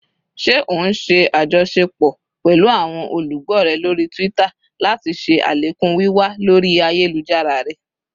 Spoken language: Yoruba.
Ṣe o n ṣe ajọṣepọ pẹlu awọn olugbo rẹ lori Twitter lati ṣe alekun wiwa lori ayelujara rẹ?